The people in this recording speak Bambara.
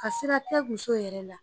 Ka sira tɛ muso yɛrɛ la